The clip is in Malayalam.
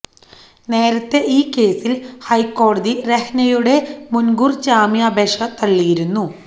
നേരത്തെ ഈ കേസില് ഹൈക്കോടതി രഹ്നയുടെ മുന്കൂര് ജാമ്യാപേക്ഷ തള്ളിയിരുന്നു